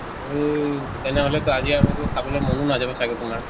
আৰু তেনেহলে তো আজি আৰু তো খাবলৈ মনো নাজাব চাগে তোমাৰ?